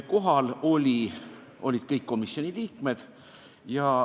Kohal olid kõik komisjoni liikmed.